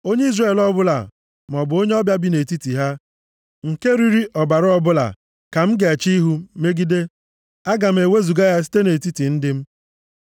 “ ‘Onye Izrel ọbụla maọbụ onye ọbịa bi nʼetiti ha, nke riri ọbara ọbụla ka m ga-eche ihu m megide. A ga-ewezuga ya site nʼetiti ndị m.